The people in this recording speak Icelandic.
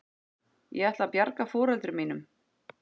Ég ætlaði að bjarga foreldrum mínum.